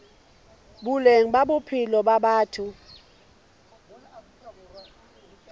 boleng ba bophelo ba batho